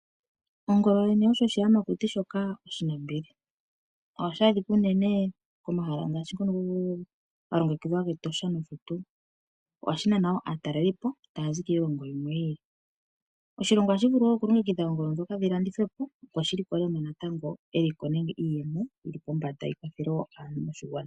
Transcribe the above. Ongolo yoyene oyo oshiyamakuti shoka oshinambili. Ohashi adhika unene komahala ngaashi ngono ga longekidhwa gEtosha nosho tuu. Ohashi nana wo aatalalelipo taya zi kiilongo yimwe yi ili. Oshilongo ohashi vulu wo okulongekidha oongolo ndhoka dhi landithwe po opo shi likolemo eliko nenge iiyemo yili pombanda yi kwathele wo aantu moshigwana.